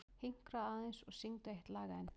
Hinkraðu aðeins og syngdu eitt lag enn.